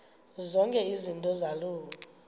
zonke izinto zaloo